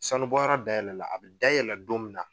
Sanubɔyɔrɔ dayɛlɛla. A bɛ dayɛlɛ don min na